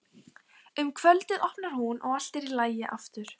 Um kvöldið opnar hún og allt er í lagi aftur.